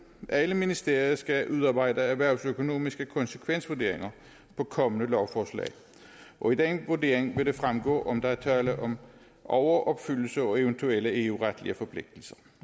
alle ministerier skal udarbejde erhvervsøkonomiske konsekvensvurderinger af kommende lovforslag og af den vurdering vil det fremgå om der er tale om overopfyldelse og eventuelle eu retlige forpligtelser